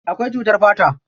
Akwai cutar fata.